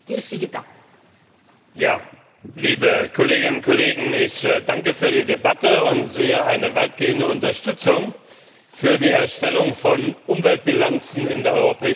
Frau Präsidentin, liebe Kolleginnen und Kollegen! Ich danke für die Debatte und sehe eine weitgehende Unterstützung für die Erstellung von Umweltbilanzen in der Europäischen Union.